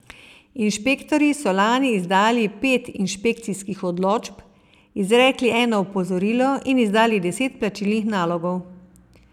Inšpektorji so lani izdali pet inšpekcijskih odločb, izrekli eno opozorilo in izdali deset plačilnih nalogov.